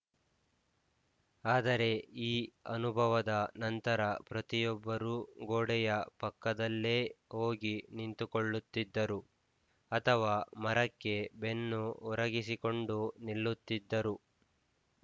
ಆದರೆ ಈ ಅನುಭವದ ನಂತರ ಪ್ರತಿಯೊಬ್ಬರೂ ಗೋಡೆಯ ಪಕ್ಕದಲ್ಲೇ ಹೋಗಿ ನಿಂತುಕೊಳ್ಳುತ್ತಿದ್ದರು ಅಥವಾ ಮರಕ್ಕೆ ಬೆನ್ನು ಒರಗಿಸಿಕೊಂಡು ನಿಲ್ಲುತ್ತಿದ್ದರು